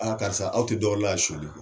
Aaa karisa aw tɛ dɔ wɛrɛ la yan sɔnyali kɔ.